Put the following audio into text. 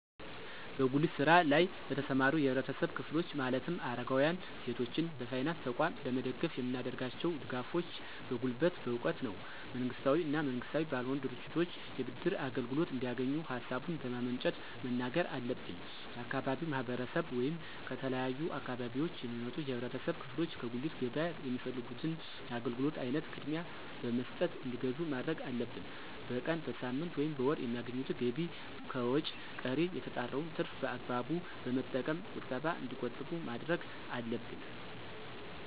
በጉሊት ስራ ለይ ለተሰማሩ የህብረተሰብ ክፍሎች ማለትም አረጋውያን፣ ሴቶችን በፋይናንስ ተቋም ለመደገፍ የምናደርጋቸው ድጋፎች በጉልበት፣ በእውቀት ነው። መንግስታዊ እና መንግስታዊ ባልሆኑ ድርጅቶች የብድር አገልግሎት እንዲያገኙ ሀሳቡን በማመንጨት መናገር አለብን። የአካባቢው ማህረሰብ ወይም ከተለያዩ አካባቢዎች የሚመጡ የህብረተሰብ ክፍሎች ከጉሊት ገበያ የሚፈልጉት የአገልግሎት አይነት ቅድሚያ በመስጠት እንዲገዙ ማድረግ አለብን። በቀን፣ በሳምንት፣ ወይም በወር የሚያገኙትን ገቢ ከወጭ ቀሪ የተጣራውን ትርፍ በአግባቡ በመጠቀም ቁጠባ እንዲቆጥቡ ማድረግ አለብን።